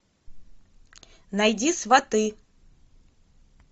найди сваты